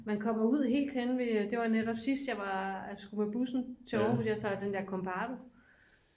man kommer ud helt henne ved det var netop sidst jeg skulle med bussen til aarhus jeg tager den der kombardo